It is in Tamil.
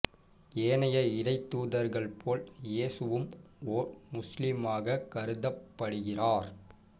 ஏனைய இறை தூதர்கள் போல் இயேசுவும் ஓர் முசுலிமாக கருதப்படுகிறார்